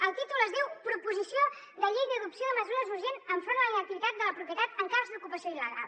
el títol es diu proposició de llei d’adopció de mesures urgents enfront de la inactivitat de la propietat en cas d’ocupació il·legal